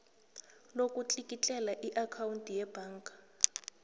lokutlikitlela iakhawundi yebhaga